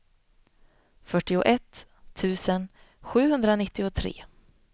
fyrtioett tusen sjuhundranittiotre